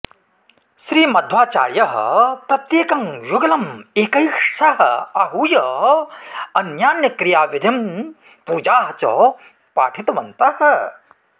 श्री मध्वाचार्यः प्रत्येकं युगलम् एकैकशः आहूय अन्यान्यक्रियाविधिं पूजाः च पाठितवन्तः